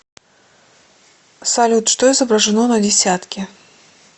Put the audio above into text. салют что изображено на десятке